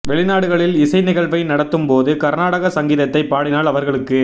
வெளிநாடுகளில் இசை நிகழ்வை நடத்தும் போது கர்நாடக சங்கீதத்தை பாடினால் அவர்களுக்கு